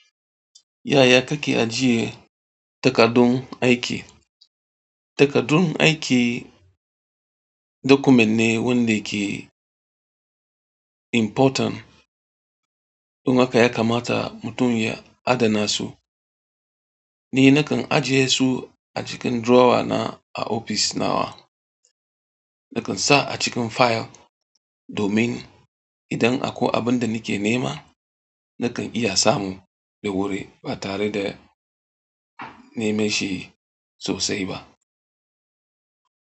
Yaya kake ajiye takardun aiki? Takardun aiki document ne wanda ke important. Don haka yakamata mutum ya adana su Ni nakan ajiye su a cikin drawer na a ofis nawa. Nakan sa a cikin file domin idan akwai abin da nake nema, nakan iya samu da wuri ba tare da neman shi sosai ba.